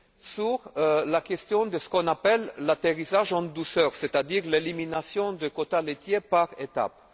Sur la question de ce qu'on appelle l'atterrissage en douceur, c'est à dire l'élimination des quotas laitiers par étapes.